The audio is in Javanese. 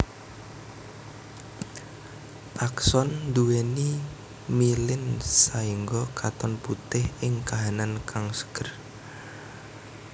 Akson nduwèni mielin saéngga katon putih ing kahanan kang seger